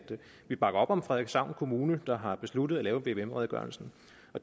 vi bakker op om frederikshavn kommune der har besluttet at lave en vvm redegørelse